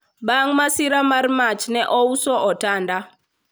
bang masira mar mach ne ouso otanda